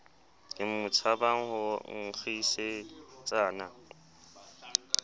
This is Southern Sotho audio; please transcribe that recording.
ke mo tshabang ho nkgisetsana